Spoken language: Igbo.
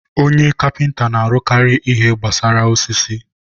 onye kapịnta na-arụkarị ihe gbasara osisi.